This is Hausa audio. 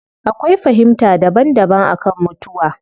Akwai fahimta daban daban akan mutuwa